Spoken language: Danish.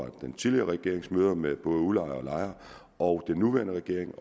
den tidligere regerings møder med udlejere og lejere og den nuværende regerings